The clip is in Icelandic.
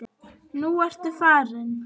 Nú ertu farinn.